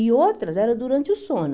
E outras eram durante o sono.